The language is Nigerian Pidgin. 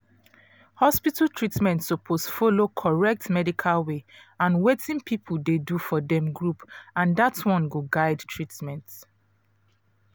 hospital treatment suppose follow correct medical way and wetin people dey do for dem group and that one go guide treatment